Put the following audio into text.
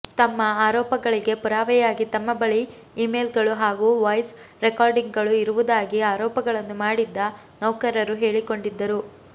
ತಮ್ಮ ಆರೋಪಗಳಿಗೆ ಪುರಾವೆಯಾಗಿ ತಮ್ಮ ಬಳಿ ಇಮೇಲ್ಗಳು ಹಾಗೂ ವಾಯ್ಸ್ ರೆಕಾರ್ಡಿಂಗ್ಗಳು ಇರುವುದಾಗಿ ಆರೋಪಗಳನ್ನು ಮಾಡಿದ್ದ ನೌಕರರು ಹೇಳಿಕೊಂಡಿದ್ದರು